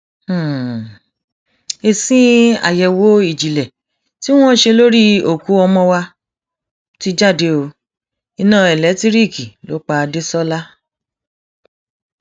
èsì àyẹwò ìjìnlẹ tí wọn ṣe lórí òkú ọmọ wa ti jáde ó iná elétíríìkì ló pa dẹsọlà